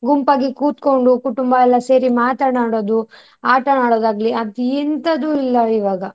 ಗುಂಪಾಗಿ ಕೋತ್ಕಂಡು ಕುಟುಂಬ ಎಲ್ಲ ಸೇರಿ ಮಾತನಾಡೋದು, ಆಟ ಆಡೋದು ಆಗ್ಲಿ ಅದು ಎಂತದು ಇಲ್ಲ ಇವಾಗ.